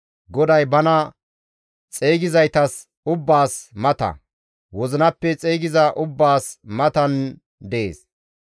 GODAY bana xeygizaytas ubbaas mata; wozinappe xeygiza ubbaas matan dees.